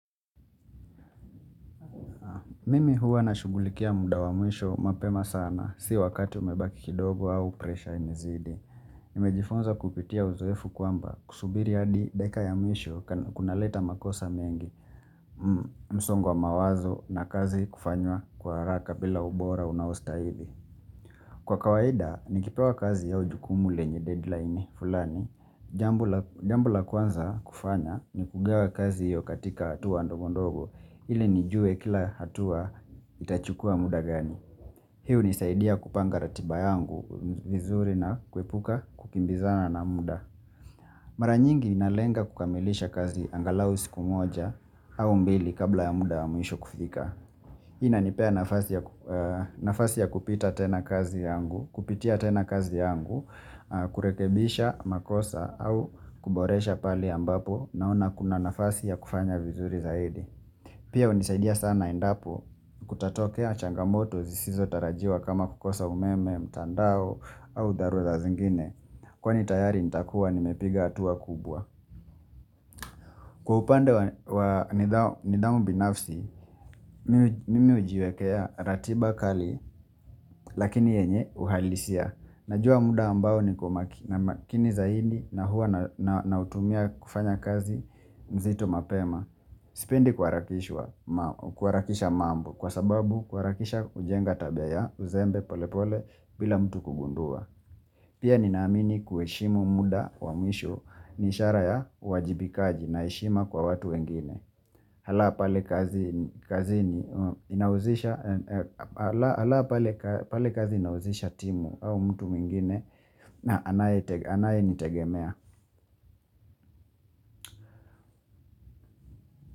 Mimi huwa na shughulikia muda wa mwisho mapema sana si wakati umebaki kidogo au presha imezidi. Nimejifunza kupitia uzoefu kwamba kusubiri hadi dakika ya mwisho kuna leta makosa mengi msongo wa mawazo na kazi kufanywa kwa haraka bila ubora unaostahili. Kwa kawaida, nikipewa kazi au ujukumu lenye deadline fulani. Jambo la Jambo la kwanza kufanya ni kugawa kazi hiyo katika hatua ndogo ndogo ili nijue kila hatua itachukua muda gani. Hii hunisaidia kupanga ratiba yangu vizuri na kuepuka kukimbizana na mda. Mara nyingi nalenga kukamilisha kazi angalau siku moja au mbili kabla ya muda mwisho kufika. Hii inanipea nafasi ya nafasi ya kupita tena kazi yangu, kupitia tena kazi yangu, kurekebisha, makosa au kuboresha pale ambapo naona kuna nafasi ya kufanya vizuri zaidi. Pia hunisaidia sana endapo kutatokea changamoto zisizo tarajiwa kama kukosa umeme, mtandao au dharura zingine. Kwani tayari nitakuwa nimepiga hatua kubwa. Kwa upande wa wa ni nidhamu binafsi, mimi hujiwekea ratiba kali lakini yenye uhalisia. Najua muda ambao ni kumaki namakini zaidi na hua nautumia kufanya kazi mzito mapema. Sipendi kuharakishwa, kuharakisha mambo kwa sababu kuharakisha hujenga tabia ya uzembe pole pole bila mtu kugundua. Pia nina amini kuheshimu muda wa mwisho ni ishara ya uwaajibikaji na heshima kwa watu wengine. Hala pale Hala pale pale kazi inahuzisha timu au mtu mwingine na anaye anaye nitegemea.